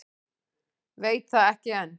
Veit það ekki enn.